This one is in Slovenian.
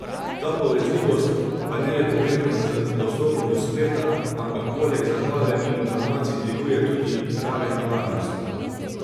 Ta povezljivost pa ni le povezana z dostopom do spleta, ampak poleg zabave in informacij dviguje tudi raven varnosti.